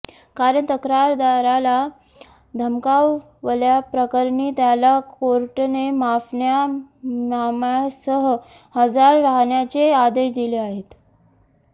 कारण तक्रारदाराला धमकावल्याप्रकरणी त्याला कोर्टाने माफीनाम्यासह हजर राहण्याचे आदेश दिले आहेत